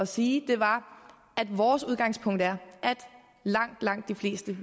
sige var at vores udgangspunkt er at langt langt de fleste